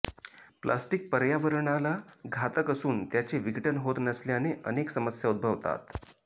plastic पर्यावरणाला घातक असून त्याचे विघटन होत नसल्याने अनेक समस्या उद्भवतात